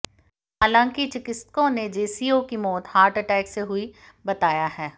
हालांकि चिकित्सकों ने जेसीओ की मौत हार्ट अटैक से हुई बताया है